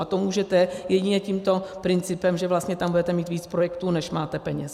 A to můžete jedině tímto principem, že vlastně tam budete mít víc projektů, než máte peněz.